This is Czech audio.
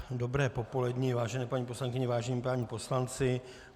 Dobré popoledni, vážené paní poslankyně, vážení páni poslanci.